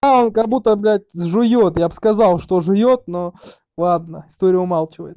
а он как будто блядь жуёт я бы сказал что жуёт но ладно история умалчивает